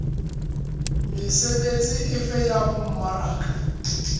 mesebetsi efe ya ho mmaraka